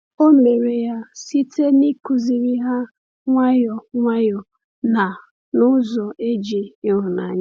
O mere ya site n’ịkụziri ha nwayọ nwayọ na n’ụzọ e ji ịhụnanya.